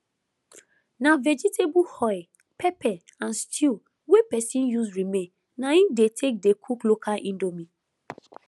na vegetable oil pepper and stew wey pesin use remain na im dey take dey cook local indomie